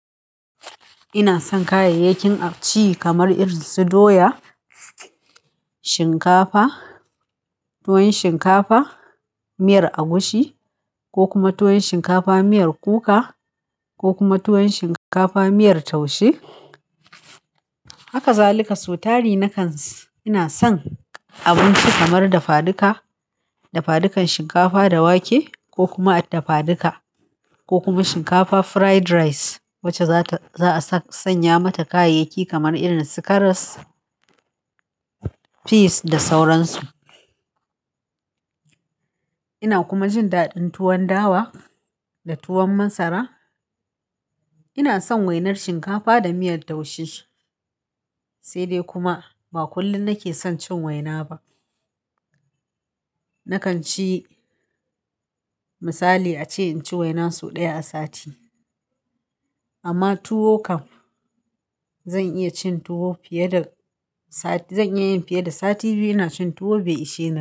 Ina son kayayyakin a ci kamar irin su doya, shinkafa, tuwo shinkafa, miyar agushi ko kuma tuwon shinkafa miyar kuka ko kuma tuwon shinkafa miyar taushi. Hakazalika, sotari na kan ina son abinci kamar dafaduka, dafadukan shinkafa da wake ko kuma dafaduka ko kuma shinkafa fried rice wacce za ta za a sanya mata kayayyaki kamar irin su karas, peas da sauransu. Ina kuma jin daɗin tuwon dawa da tuwon masara. Ina son wainar shinkafa da miyar taushi sai dai kuma ba kullum nake son cin waina ba. Nakan ci misali ace inci waina sau ɗaya a sati. Amma tuwo kam zan iya cin tuwo fiye da sati zan iya yin fiye da sati biyu ina cin tuwo bai ishe ni.